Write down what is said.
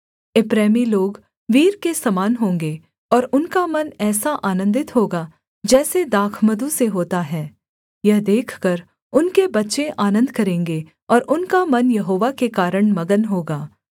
एप्रैमी लोग वीर के समान होंगे और उनका मन ऐसा आनन्दित होगा जैसे दाखमधु से होता है यह देखकर उनके बच्चे आनन्द करेंगे और उनका मन यहोवा के कारण मगन होगा